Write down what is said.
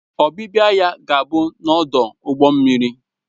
Ọbịbịa ya ga-abụ n'ọdụ ụgbọ mmiri